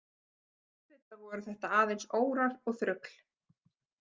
Auðvitað voru þetta aðeins órar og þrugl.